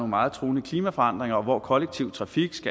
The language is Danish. meget truende klimaforandringer og hvor kollektiv trafik